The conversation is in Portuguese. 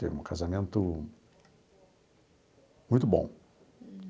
Teve um casamento muito bom.